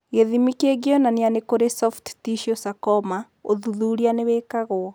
Gĩthimi kĩngĩonania nĩ kũrĩ soft tissue sarcoma, ũthuthuria nĩ wĩkagwo.